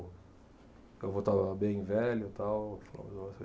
O avô estava bem velho e tal.